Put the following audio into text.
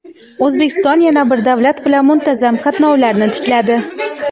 O‘zbekiston yana bir davlat bilan muntazam qatnovlarni tikladi.